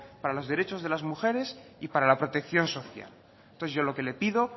para los derechos de las mujeres y para la protección social entonces yo lo que le pido